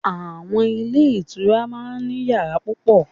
Àwon Ilé Ìtura máa n ní yàrá púpọ̀